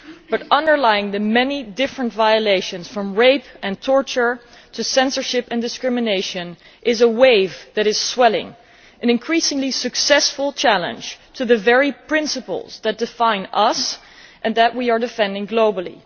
But underlying the many different forms of violation from rape and torture to censorship and discrimination is a wave that is swelling, an increasingly successful challenge to the very principles that define us and that we are defending globally.